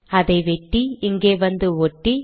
அதை வெட்டி இங்கே வந்து ஒட்டி